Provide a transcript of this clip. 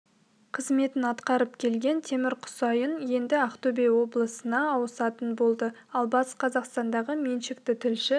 қызметін атқарып келген темір құсайын енді ақтөбе облысына ауысатын болды ал батыс қазақстандағы меншікті тілші